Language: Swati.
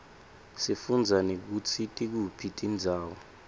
sifundza nekutsi tikuphi tindzawo